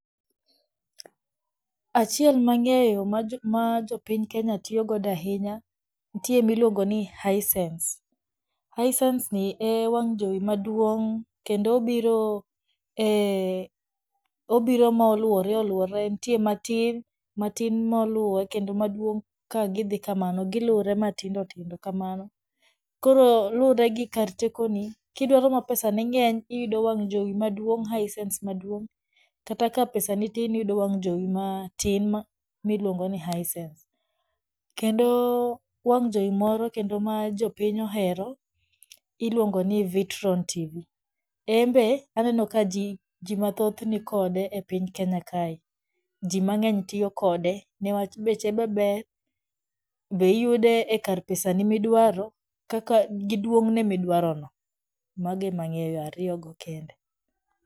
Achiel mang'eyo ma jopiny kenya tiyogodo ahinya, nitie miluongo ni Hisense. Hisenseni e wang' jowi maduong kendo obiro e, obiro moluore oluore nitie matin, matin maluwe kendo maduong' ka gidhii kamano gilure matindo tindo kamano. Koro lure gi kar tekoni, kidwaro ma pesane ng'eny iyudo wang' jowi maduong' Hisense maduong, kata ka pesani tin iyudo wang' jowi matin miluongo ni Hisense. Kendo wang' jowi moro kendo ma jopiny ohero iluongo ni Vitron TV, enbe aneno ka jii mathoth nikode e piny kenya kae, jii mang'eny tiyo kode niwach beche be ber be iyude e kar pesani midwaro kaka gi duong'ne midwarono mago emang'eyo ariyogo kende.